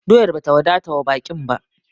Doyar ba ta wadata wa baƙin ba!